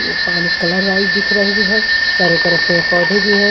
पानी colour wise दिख रही है चारों तरफ पेड़ पौधे भी हैं।